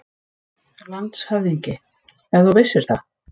LANDSHÖFÐINGI: Ef þú vissir það.